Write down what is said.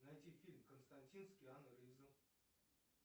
найти фильм константин с киану ривзом